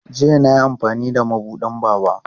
Jiya na yi amfani da mabuɗin Baba.